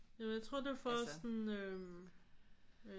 Jamen jeg tror det er for at sådan øh øh